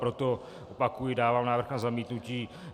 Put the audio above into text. Proto, opakuji, dávám návrh na zamítnutí.